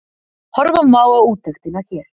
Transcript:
Horfa má á úttektina hér